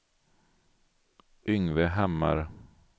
Yngve Hammar